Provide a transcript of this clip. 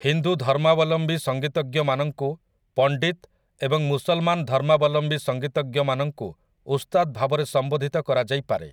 ହିନ୍ଦୁ ଧର୍ମାବଲମ୍ବୀ ସଂଗୀତଜ୍ଞମାନଙ୍କୁ 'ପଣ୍ଡିତ୍' ଏବଂ ମୁସଲମାନ ଧର୍ମାବଲମ୍ବୀ ସଂଗୀତଜ୍ଞମାନଙ୍କୁ 'ଉସ୍ତାଦ୍' ଭାବରେ ସମ୍ବୋଧିତ କରାଯାଇପାରେ ।